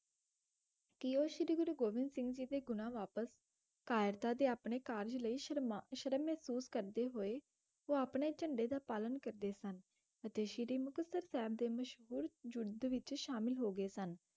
ਕਿ ਉਹ ਸ਼੍ਰੀ ਗੁਰੂ ਗੋਬਿੰਦ ਸਿੰਘ ਜੀ ਦੇ ਗੁਣਾ ਵਾਪਸ ਕਾਇਰਤਾ ਤੇ ਆਪਣੇ ਕਾਰਜ ਲਈ ਸ਼ਰਮਾ ਸ਼ਰਮ ਮਹਿਸੂਸ ਕਰਦੇ ਹੋਏ, ਉਹ ਆਪਣੇ ਝੰਡੇ ਦਾ ਪਾਲਣ ਕਰਦੇ ਸਨ ਅਤੇ ਸ੍ਰੀ ਮੁਕਤਸਰ ਸਾਹਿਬ ਦੇ ਮਸ਼ਹੂਰ ਯੁੱਧ ਵਿੱਚ ਸ਼ਾਮਲ ਹੋ ਗਏ ਸਨ,